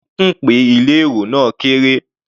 Ife ń kùn pé ilé èrò náà kéré.